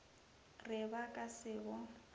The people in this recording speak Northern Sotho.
re ba ka se bo